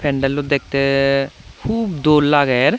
pendello dekte hup dol lager.